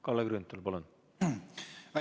Kalle Grünthal, palun!